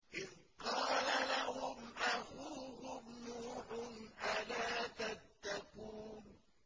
إِذْ قَالَ لَهُمْ أَخُوهُمْ نُوحٌ أَلَا تَتَّقُونَ